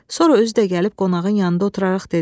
Sonra özü də gəlib qonağın yanında oturaraq dedi.